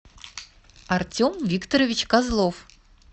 артем викторович козлов